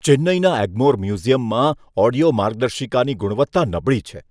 ચેન્નઈના એગ્મોર મ્યુઝિયમમાં ઓડિયો માર્ગદર્શિકાની ગુણવત્તા નબળી છે.